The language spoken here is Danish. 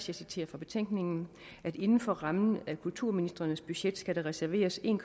jeg citerer fra betænkningen at inden for rammen af kulturministrenes budget skal der reserveres en